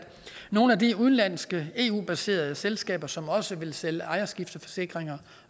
nogle af de udenlandske eu baserede selskaber som også vil sælge ejerskifteforsikringer